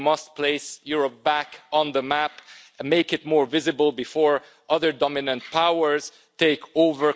We must place Europe back on the map and make it more visible before other dominant powers take over control.